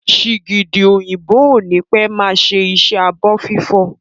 Sìgìdì òyìnbó ó ní pẹ́ máa ṣe iṣẹ́ ẹ abọ́ fífọ̀